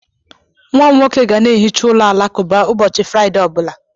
Nwa m nwoke ga na-ehicha ụlọ alakụba ụbọchị Fraịde ọ bụla.